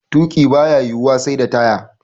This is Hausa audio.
Tuƙi baya yiwuwa sai da taya.